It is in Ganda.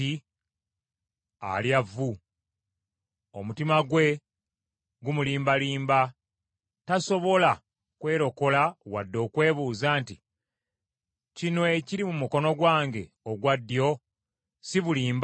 Alya vvu. Omutima gwe gumulimbalimba, tasobola kwerokola wadde okwebuuza nti, “Kino ekiri mu mukono gwange ogwa ddyo si bulimba?”